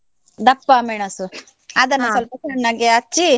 ದಪ್ಪ ಮೆಣಸು ಸ್ವಲ್ಪ ಸಣ್ಣಗೆ ಹೆಚ್ಚಿ.